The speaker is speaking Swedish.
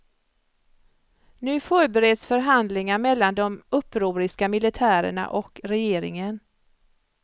Nu förbereds förhandlingar mellan de upproriska militärerna och regeringen.